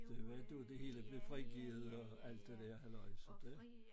Det var dér det hele blev frigivet og alt det der halløj